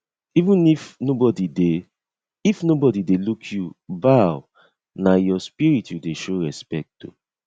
even if nobody dey if nobody dey look you bowna your spirit you dey show respect to